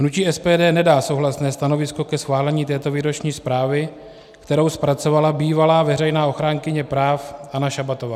Hnutí SPD nedá souhlasné stanovisko ke schválení této výroční zprávy, kterou zpracovala bývalá veřejná ochránkyně práv Anna Šabatová.